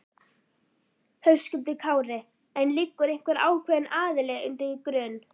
Höskuldur Kári: En liggur einhver ákveðin aðili undir grun?